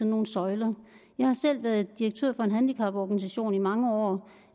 nogle søjler jeg har selv været direktør for en handicaporganisation i mange år